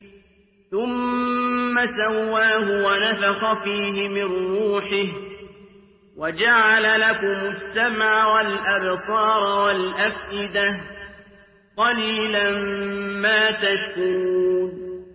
ثُمَّ سَوَّاهُ وَنَفَخَ فِيهِ مِن رُّوحِهِ ۖ وَجَعَلَ لَكُمُ السَّمْعَ وَالْأَبْصَارَ وَالْأَفْئِدَةَ ۚ قَلِيلًا مَّا تَشْكُرُونَ